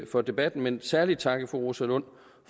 for debatten men særlig takke fru rosa lund